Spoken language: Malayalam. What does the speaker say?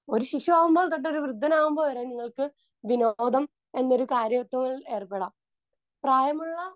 സ്പീക്കർ 2 ഒരു ശിശു ആകുമ്പോൾ തൊട്ട് ഒരു വൃദ്ധനാകുമ്പോൾ വരെ നിങ്ങൾക്ക് വിനോദം എന്നൊരു കാര്യത്തിൽ ഏർപ്പെടാം. പ്രായമുള്ള